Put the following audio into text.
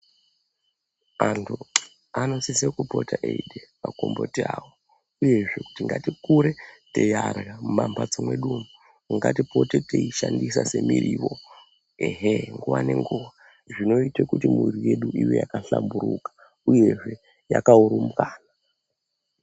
Antu anosise kupote eide magomboti avo uyezve kuti ngatikure teiarya mumambatso medu umu ngatipote teishandisa semiriwo. Ehe, nguva nenguva, zvinoite kuti mwiiri yedu ive yakahlamburuka uyehe yakaurumbwana.